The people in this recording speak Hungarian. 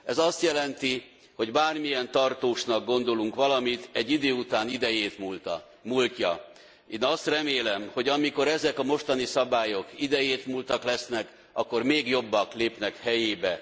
Ez azt jelenti, hogy bármilyen tartósnak gondolunk valamit, egy idő után idejét múlta. Én azt remélem, hogy amikor ezek a mostani szabályok idejétmúltak lesznek, akkor még jobbak lépnek helyébe.